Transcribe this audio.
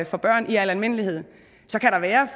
for børn i al almindelighed så kan der være